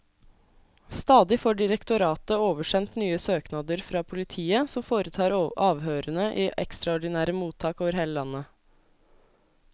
Stadig får direktoratet oversendt nye søknader fra politiet, som foretar avhørene i ekstraordinære mottak over hele landet.